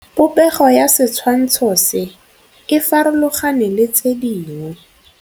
Popêgo ya setshwantshô se, e farologane le tse dingwe.